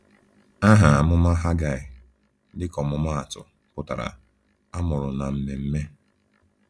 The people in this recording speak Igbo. Aha amụma Haggai, dịka ọmụmaatụ, pụtara “A mụrụ na Ememme.”